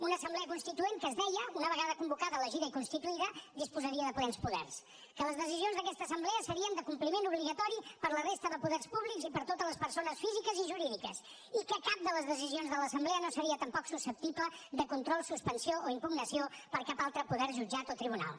una assemblea constituent que es deia una vegada convocada elegida i constituïda disposaria de plens poders que les decisions d’aquesta assemblea serien de compliment obligatori per a la resta de poders públics i per a totes les persones físiques i jurídiques i que cap de les decisions de l’assemblea no seria tampoc susceptible de control suspensió o impugnació per cap altre poder jutjat o tribunal